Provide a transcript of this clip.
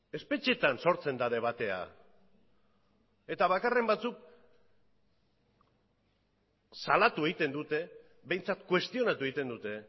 espetxeetan sortzen da debatea eta bakarren batzuk salatu egiten dute behintzat kuestionatu egiten dute